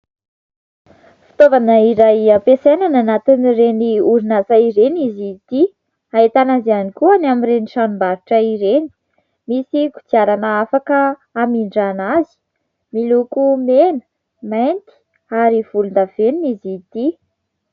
Fitaovana iray hampiasaina any anatin'ireny orinasa ireny izy ity, ahitana azy ihany koa any amin'ireny tranom-barotra ireny. Misy kodiarana afaka hamindràna azy miloko mena, mainty ary volondavenona izy ity.